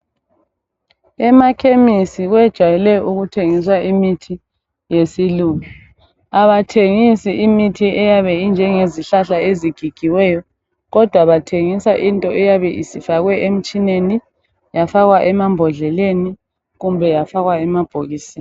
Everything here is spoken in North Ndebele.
Emakhemisi bajwayele ukutshengisa imithi yesilungu abathengisi izihlahla ezigigiweyo kodwa bathengisa into eyabe ifakwe emtshineni, emabhokisini loba emaphepheni.